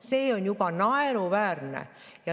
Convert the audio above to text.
See on naeruväärne.